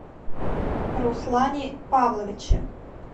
руслане павловиче